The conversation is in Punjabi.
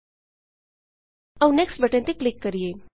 ਆਉ ਨੈਕਸਟ ਨੈਕਸਟ ਬਟਨ ਤੇ ਕਲਿੱਕ ਕਰੀਏ